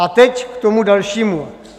A teď k tomu dalšímu.